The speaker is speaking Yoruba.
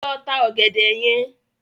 Lọ ta ọ̀gẹ̀dẹ̀ yẹn.